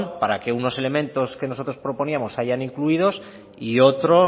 para que unos elementos que nosotros proponíamos se hayan incluido y otro